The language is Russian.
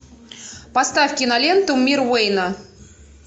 поставь киноленту мир уэйна